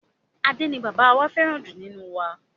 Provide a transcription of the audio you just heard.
Ade ni bàbá wá fẹràn ju nínú wa.